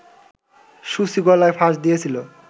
সূচি গলায় ফাঁস দিয়েছিলো